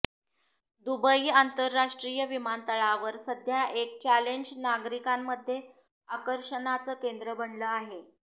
Dubai आंतरराष्ट्रीय विमानतळावर सध्या एक चॅलेंज नागरिकांमध्ये आकर्षणाचं केंद्र बनलं आहे